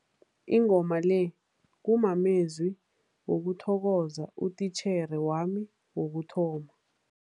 Ingoma le kumamezwi wokuthokoza utitjhere wami wokuthoma.